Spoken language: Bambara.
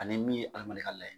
Ani min ye k'a layɛ.